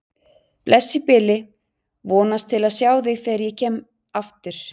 Bless í bili, vonast til að sjá þig þegar ég kem aftur